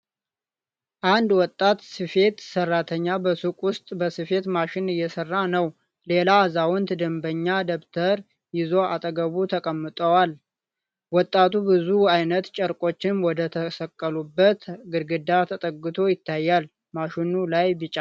አንድ ወጣት ስፌት ሰራተኛ በሱቁ ውስጥ በስፌት ማሽን እየሰራ ነው። ሌላ አዛውንት ደንበኛ ደብተር ይዘው አጠገቡ ተቀምጠዋል። ወጣቱ ብዙ ዓይነት ጨርቆችን ወደተሰቀሉበት ግድግዳ ተጠግቶ ይታያል። ማሽኑ ላይ ቢጫና ቀይ አበባ ያለው ጨርቅ አለ።